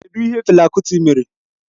Kedụ ihe Fela Kuti mere?